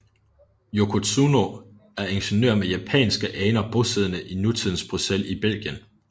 Yoko Tsuno er ingeniør med japanske aner bosiddende i nutidens Bruxelles i Belgien